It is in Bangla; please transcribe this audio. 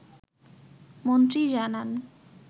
মন্ত্রী জানান